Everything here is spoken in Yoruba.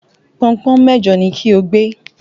Pọnpọ́n mejo ni kí o gbé!